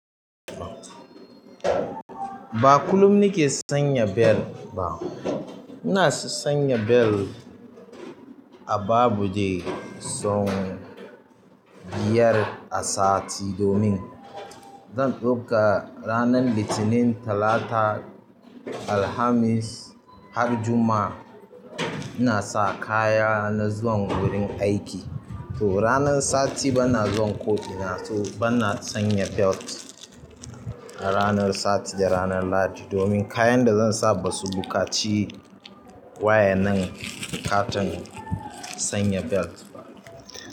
Ba kullum ni ke sanya bel ba. Ina sanya bel a babu dai sau biyar a sati domin zan ɗauka ranar Litinin, Talata, Alhamis, har Juma'a ina sa kaya na zuwan wurin aiki. To ranar sati ba na zuwan ko ina, to ba na sanya belt. A ranar sati da ranar Ladix domin kayan da zan sa ba su buƙaci wayanan katin sanya bel ba.